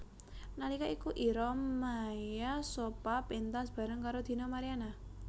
Nalika iku Ira Maya Sopha péntas bareng karo Dina Mariana